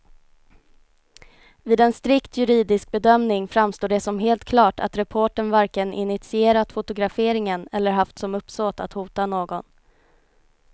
Vid en strikt juridisk bedömning framstår det som helt klart att reportern varken initierat fotograferingen eller haft som uppsåt att hota någon.